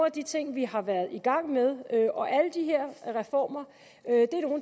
af de ting vi har været i gang med og alle de her reformer